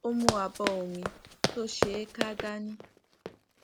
ó mú abó omi tó ṣeé ká dání